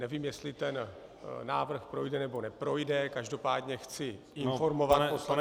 Nevím, jestli ten návrh projde, nebo neprojde, každopádně chci informovat Poslaneckou -